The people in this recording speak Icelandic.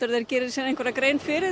þeir geri sér grein fyrir